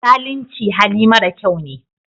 Zalunci hali mara kyau ne